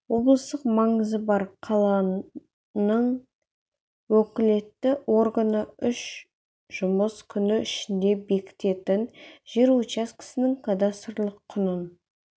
облыстық маңызы бар қаланың уәкілетті органы үш жұмыс күні ішінде бекітетін жер учаскесінің кадастрлық құнын